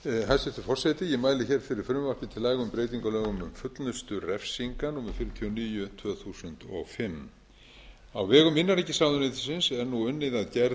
hæstvirtur forseti ég mæli fyrir frumvarpi til laga um breytingu á lögum um fullnustu refsinga númer fjörutíu og níu tvö þúsund og fimm á vegum innanríkisráðuneytisins er nú unnið að gerð